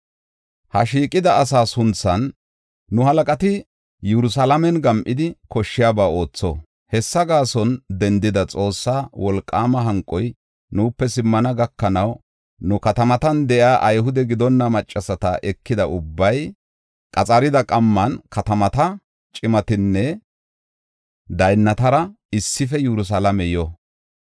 Ha shiiqida asaa sunthan nu halaqati Yerusalaamen gam7idi, koshshiyaba ootho. Hessa gaason dendada Xoossaa wolqaama hanqoy nuupe simmana gakanaw, nu katamatan de7iya Ayhude gidonna maccasata ekida ubbay keerida qamman katamata cimatinne daynnatara issife Yerusalaame yo.